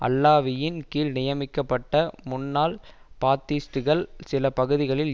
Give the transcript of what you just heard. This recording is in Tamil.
அல்லாவியின் கீழ் நியமிக்கப்பட்ட முன்னாள் பாத்திஸ்ட்டுகள் சில பகுதிகளில்